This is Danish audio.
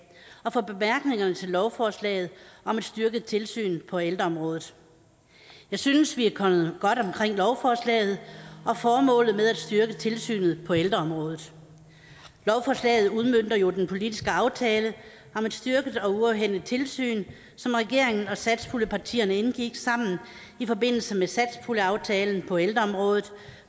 og for bemærkningerne til lovforslaget om et styrket tilsyn på ældreområdet jeg synes vi er kommet godt omkring lovforslaget og formålet med at styrke tilsynet på ældreområdet lovforslaget udmønter jo den politiske aftale om et styrket og uafhængigt tilsyn som regeringen og satspuljepartierne indgik sammen i forbindelse med satspuljeaftalen på ældreområdet